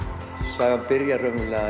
sagan byrjar